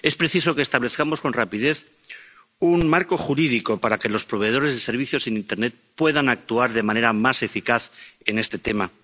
Es preciso que establezcamos con rapidez un marco jurídico para que los proveedores de servicios en internet puedan actuar de manera más eficaz en este tema.